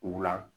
U la